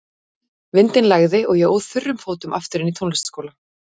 Vindinn lægði og ég óð þurrum fótum aftur inn í tónlistarskólann.